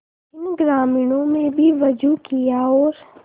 इन ग्रामीणों ने भी वजू किया और